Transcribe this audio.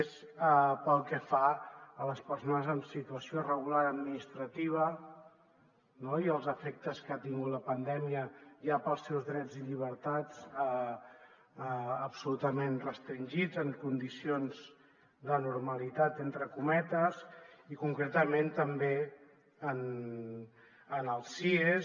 és pel que fa a les persones en situació irregular administrativa no i els efectes que ha tingut la pandèmia ja per als seus drets i llibertats absolutament restringits en condicions de normalitat entre cometes i concretament també als cies